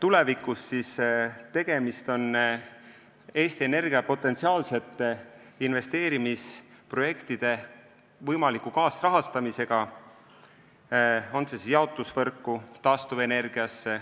tulevikust, siis tegemist on Eesti Energia potentsiaalsete investeerimisprojektide võimaliku kaasrahastamisega, olgu need siis investeeringud jaotusvõrku või taastuvenergiasse.